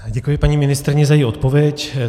Děkuji paní ministryni za její odpověď.